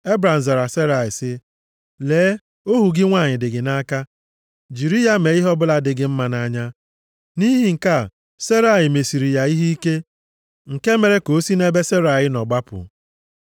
Ebram zara Serai sị, “Lee, ohu gị nwanyị dị gị nʼaka. Jiri ya mee ihe ọbụla dị gị mma nʼanya.” Nʼihi nke a, Serai mesiri ya ihe ike, nke mere ka o si nʼebe Serai nọ gbapụ.